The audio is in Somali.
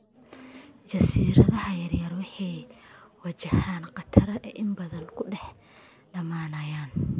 Jasiiradaha yaryar waxay wajahaan khatar ah inay badda ku dhex dhamaanayaan.